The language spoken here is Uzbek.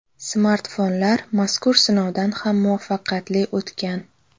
Smartfonlar mazkur sinovdan ham muvaffaqiyatli o‘tgan.